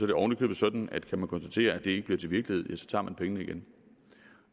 det ovenikøbet sådan at kan man konstatere at det ikke bliver til virkelighed tager man pengene igen